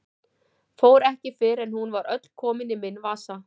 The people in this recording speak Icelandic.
Fór ekki fyrr en hún var öll komin í minn vasa.